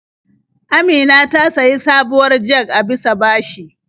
Amina ta sayi sabuwar jag a bisa bashi.